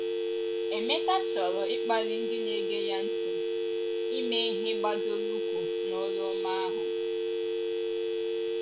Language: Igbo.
Emeka chọrọ ịkpali ndị na - ege ya ntị, ịme ihe gbadoro ụkwụ n’oru ọma ahụ.